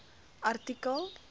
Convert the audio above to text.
artikel